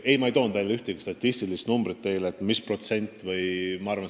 Samas ma ei toonud välja ühtegi sellekohast näitajat, ühtegi protsenti.